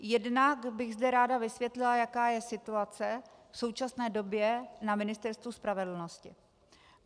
Jednak bych zde ráda vysvětlila, jaká je situace v současné době na Ministerstvu spravedlnosti.